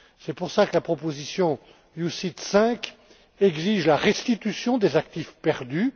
C'est pour cela que la proposition OPCVM V exige la restitution des actifs perdus.